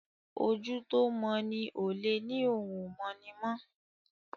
ojú tó mọ ní olè ní òún o mọ ní mọ.